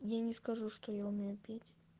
я не скажу что я умею петь